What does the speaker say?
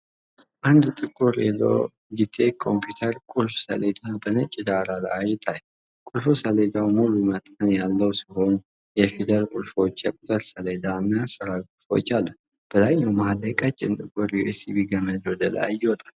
አንድ ጥቁር የሎጊቴክ ኮምፒውተር ቁልፍ ሰሌዳ በነጭ ዳራ ላይ ይታያል። ቁልፍ ሰሌዳው ሙሉ መጠን ያለው ሲሆን፤ የፊደል ቁልፎች፣ የቁጥር ሰሌዳ እና የአሠራር ቁልፎች አሉት። በላይኛው መሃል ላይ ቀጭን ጥቁር ዩኤስቢ ገመድ ወደ ላይ ይወጣል።